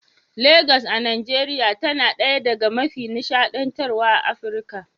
Legas a Najeriya tana ɗaya daga mafi nishadantarwa a Afirka.